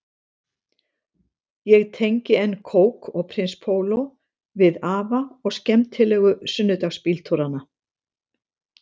Ég tengi enn kók og prins póló við afa og skemmtilegu sunnudagsbíltúrana